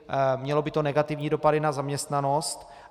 Mělo by to negativní dopady na zaměstnanost.